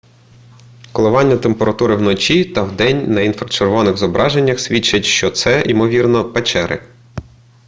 коливання температури вночі та вдень на інфрачервоних зображеннях свідчать що це ймовірно печери